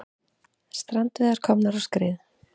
Strandveiðar komnar á skrið